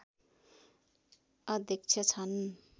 अध्यक्ष छन्